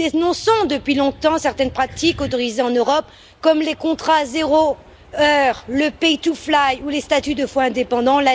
Nous dénonçons depuis longtemps certaines pratiques autorisées en Europe, comme les contrats zéro heure, le pay to fly ou les statuts de faux indépendants.